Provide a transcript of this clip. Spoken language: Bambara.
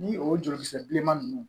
Ni o jolikisɛ bilenman ninnu